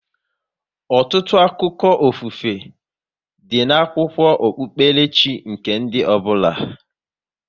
Ọtụtụ akụkọ ofufe, dị n'akwụkwọ okpukpere chi nke ndị ọbụla